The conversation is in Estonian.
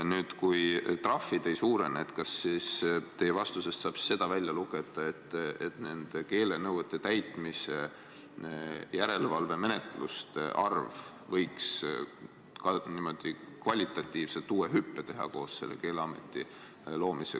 Nüüd, kui trahvid ei suurene, kas siis teie vastusest saab välja lugeda, et keelenõuete täitmise järelevalvemenetluste arv võiks kvalitatiivse hüppe teha, kui Keeleamet luuakse?